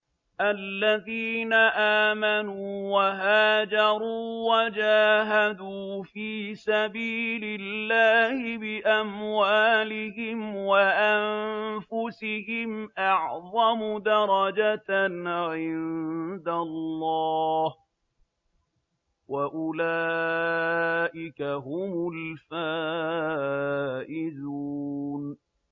الَّذِينَ آمَنُوا وَهَاجَرُوا وَجَاهَدُوا فِي سَبِيلِ اللَّهِ بِأَمْوَالِهِمْ وَأَنفُسِهِمْ أَعْظَمُ دَرَجَةً عِندَ اللَّهِ ۚ وَأُولَٰئِكَ هُمُ الْفَائِزُونَ